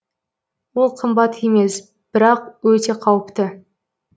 ол қымбат емес бірақ өте қауіпті